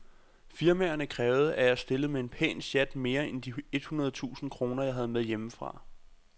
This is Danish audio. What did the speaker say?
Firmaerne krævede, at jeg stillede med en pæn sjat mere end de et hundrede tusind kroner, jeg havde med hjemmefra.